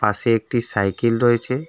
পাশে একটি সাইকেল রয়েছে।